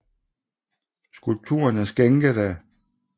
Skulpturen er skænket af af H